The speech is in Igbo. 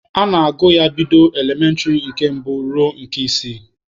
A na-agụ ya bido n'elementịrị nke mbụ ruo na nke isii.